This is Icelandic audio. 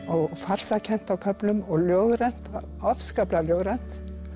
og farsakennt á köflum og ljóðrænt afskaplega ljóðrænt